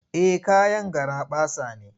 Eh kayan garaɓasa ne.